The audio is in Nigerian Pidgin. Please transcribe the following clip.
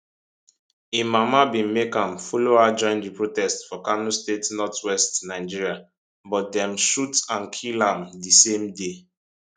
im mama bin make am follow her join di protests for kano state northwestern nigeria but dem shoot and kill am di same day